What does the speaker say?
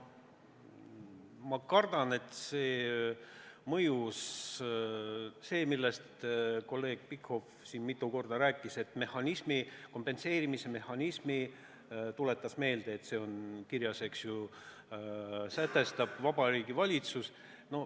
Ma kardan, et mõjus see, millest kolleeg Pikhof siin mitu korda rääkis: et kompenseerimise mehhanismi – ta tuletas meelde, et see on eelnõus kirjas – sätestab Vabariigi Valitsus.